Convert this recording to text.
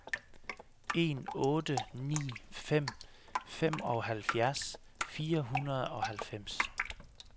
en otte ni fem femoghalvfjerds fire hundrede og halvfems